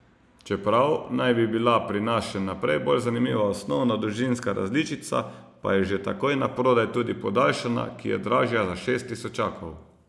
Čeprav naj bi bila pri nas še naprej bolj zanimiva osnovna dolžinska različica, pa je že takoj naprodaj tudi podaljšana, ki je dražja za šest tisočakov.